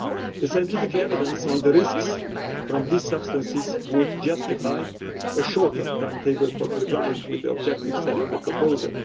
The scientific evidence on the risks from these substances would justify a shorter timetable for complying with the objectives set out in the proposal.